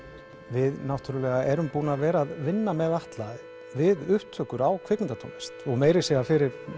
við erum búin að vera að vinna með Atla við upptökur á kvikmyndatónlist meira að segja fyrir